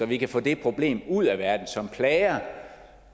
vi få det problem ud af verden som plager